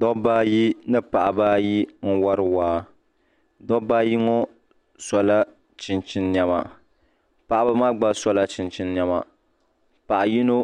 dabba ayi ni paɣaba ayi n wori waa dabba ayi ŋɔ sola chinchin niɛma paɣaba maa gba sola chinchin niɛma paɣa yino